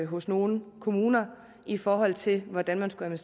hos nogle kommuner i forhold til hvordan man skulle